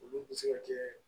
Olu bɛ se ka kɛ